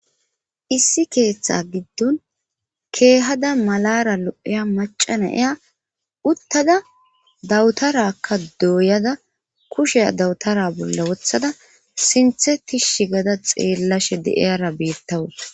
Issi keeththa giddon keehada malara lo'eya macana eya uttada dawutarakka dooyada kushe dawutara bolla wothada sinthe tishi gada xeellashe de'eyara beettawuta